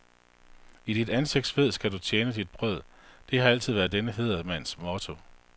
I dit ansigts sved skal du tjene dit brød, det har altid været denne hædersmands motto.